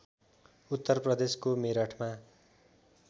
उत्तर प्रदेशको मेरठमा